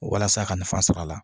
Walasa a ka nafa sɔr'a la